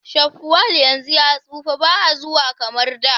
shafwal yanzu ya tsufa baa zuwa kamar da